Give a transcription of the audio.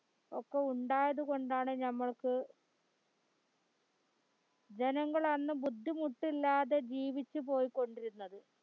ഒക്കെ ഉണ്ടായിരുന്നത് കോണ്ടാണ് ഞമ്മൾക്ക് ജനങ്ങൾ അന്ന് ബുദ്ധിമുട്ടില്ലാതെ ജീവിച്ച് പോയിക്കൊണ്ടിരുന്നത്